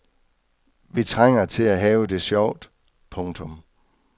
Vi trænger til at have det sjovt. punktum